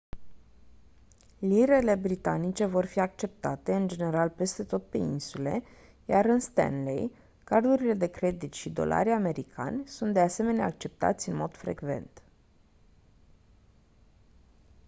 lirele britanice vor fi acceptate în general peste tot pe insule iar în stanley cardurile de credit și dolarii americani sunt de asemenea acceptați în mod frecvent